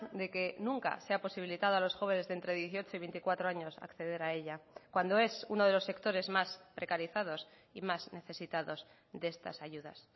de que nunca se ha posibilitado a los jóvenes de entre dieciocho y veinticuatro años a acceder a ella cuando es uno de los sectores más precarizados y más necesitados de estas ayudas